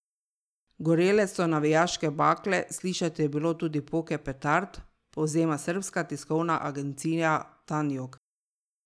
Gorele so navijaške bakle, slišati je bilo tudi poke petard, povzema srbska tiskovna agencija Tanjug.